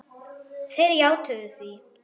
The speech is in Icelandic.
Þeir játuðu því.